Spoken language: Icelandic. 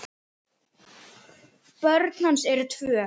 Börn hans eru tvö.